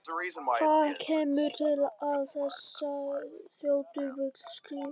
Hvað kemur til að þessi þrjótur vill skrifta?